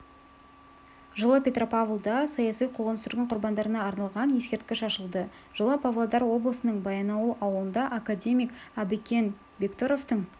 жылы петропавлда саяси қуғын-сүргін құрбандарына арналған ескерткіш ашылды жылы павлодар облысының баянауыл ауылында академик әбікен бектұровтың